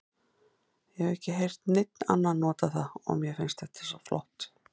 Ég hef ekki heyrt neinn annan nota það og mér finnst þetta flott orð.